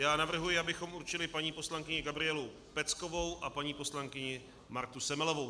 Já navrhuji, abychom určili paní poslankyni Gabrielu Peckovou a paní poslankyni Martu Semelovou.